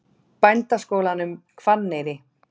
Bændaskólanum Hvanneyri